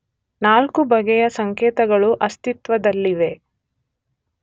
ನಾಲ್ಕು ಬಗೆಯ ಸಂಕೇತಗಳು ಅಸ್ತಿತ್ವದಲ್ಲಿವೆ.